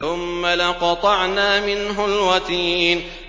ثُمَّ لَقَطَعْنَا مِنْهُ الْوَتِينَ